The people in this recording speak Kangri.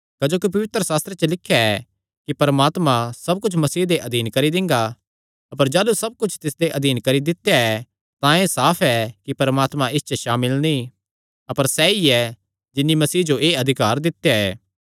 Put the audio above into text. क्जोकि पवित्रशास्त्रे च लिख्या ऐ कि परमात्मा सब कुच्छ मसीह दे अधीन करी दिंगा अपर जाह़लू सब कुच्छ तिसदे अधीन करी दित्या ऐ तां एह़ साफ ऐ कि परमात्मा इस च सामिल नीं अपर सैई ऐ जिन्नी मसीह जो एह़ अधिकार दित्या ऐ